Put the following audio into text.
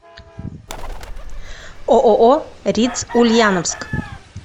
ооо риц ульяновск